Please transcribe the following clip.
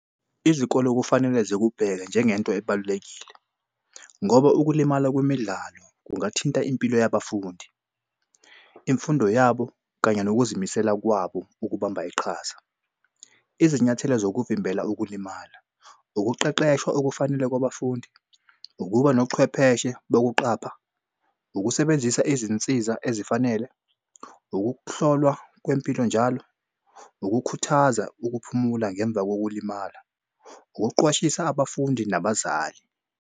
Izikole okufanele zikubheka njengento ebalulekile ngoba ukulimala kwemidlalo kungathinta impilo yabafundi, imfundo yabo kanye nokuzimisela kwabo ukubamba iqhaza. Izinyathelo zokuvimbela ukulimala ukuqeqeshwa okufanele kwabafundi, ukuba nochwepheshe bokuqapha, ukusebenzisa izinsiza ezifanele, ukuhlolwa kwempilo njalo, ukukhuthaza ukuphumula ngemva kokulimala, ukuqwashisa abafundi nabazali.